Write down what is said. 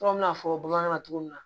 n'a fɔ bamanankan na cogo min na